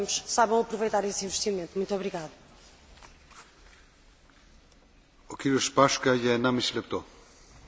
Úvodom chcem povedať, že som rád, že Európska únia objavila potenciál významných energetických úspor obsiahnutých v prevádzke budov.